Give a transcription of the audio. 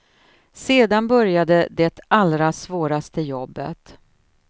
Sedan började det allra svåraste jobbet.